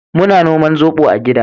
Muna noman zobo a gida